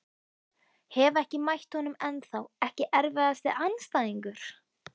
Hef ekki mætt honum ennþá Ekki erfiðasti andstæðingur?